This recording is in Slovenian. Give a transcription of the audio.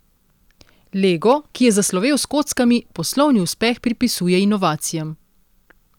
Lego, ki je zaslovel s kockami, poslovni uspeh pripisuje inovacijam.